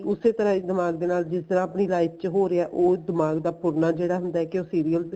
ਉਸੇ ਤਰ੍ਹਾਂ ਈ ਦਿਮਾਗ ਦੇ ਨਾਲ ਜਿਸ ਤਰ੍ਹਾਂ ਆਪਣੀ life ਚ ਹੋ ਰਿਹਾ ਉਹ ਦਿਮਾਗ ਦਾ ਫੁਰਨਾ ਜਿਹੜਾ ਹੁੰਦਾ ਕੇ ਉਹ serial